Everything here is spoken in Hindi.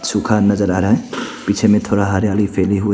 सुखा नजर आ रहा है पीछे में थोड़ा हरियाली फैली हुई--